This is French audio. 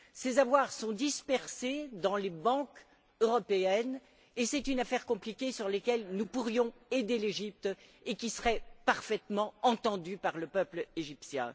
Ces avoirs sont dispersés dans les banques européennes et c'est une affaire compliquée où nous pourrions aider l'Égypte et qui serait parfaitement entendue par le peuple égyptien.